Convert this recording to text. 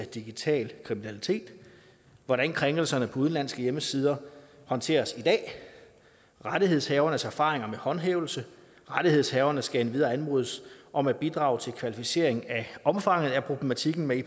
digital kriminalitet hvordan krænkelserne på udenlandske hjemmesider håndteres i dag rettighedshavernes erfaringer med håndhævelse rettighedshaverne skal endvidere anmodes om at bidrage til kvalificering af omfanget af problematikken med